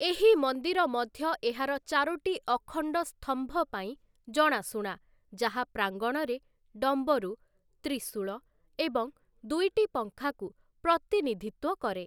ଏହି ମନ୍ଦିର ମଧ୍ୟ ଏହାର ଚାରୋଟି ଅଖଣ୍ଡ ସ୍ତମ୍ଭ ପାଇଁ ଜଣାଶୁଣା ଯାହା ପ୍ରାଙ୍ଗଣରେ ଡମ୍ବରୁ, ତ୍ରିଶୂଳ ଏବଂ ଦୁଇଟି ପଙ୍ଖାକୁ ପ୍ରତିନିଧିତ୍ୱ କରେ ।